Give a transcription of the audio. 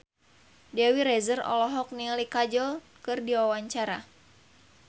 Dewi Rezer olohok ningali Kajol keur diwawancara